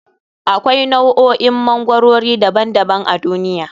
Akwai nau'o'in magwarori daban daban a duniya.